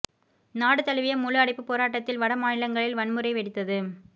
நாடு தழுவிய முழு அடைப்பு போராட்டத்தில் வட மாநிலங்களில் வன்முறை வெடித்தது